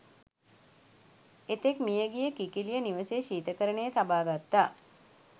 එතෙක් මියගිය කිකිළිය නිවසේ ශීතකරණයේ තබා ගත්තා.